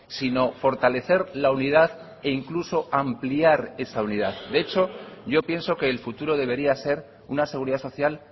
sino fortalecer la unidad e incluso ampliar esa unidad de hecho yo pienso que el futuro debería ser una seguridad social